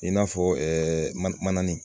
I n'a fɔ mana mana nin